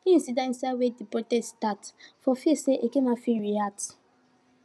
him sidon inside wen de protests startfor fear say eke men fit react